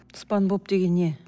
спанбоп деген не